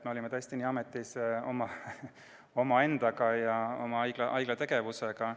Me olime tõesti niivõrd ametis endaga ja oma haigla tegevusega.